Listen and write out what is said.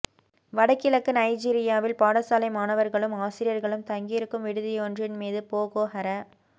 வடகிழக்கு நைஜீரியாவில் பாடசாலை மாணவர்களும் ஆசிரியர்களும் தங்கியிருக்கும் விடுதியொன்றின் மீது போகோ ஹர